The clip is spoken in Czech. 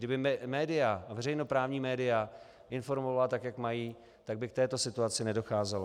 Kdyby média, veřejnoprávní média, informovala tak, jak mají, tak by k této situaci nedocházelo.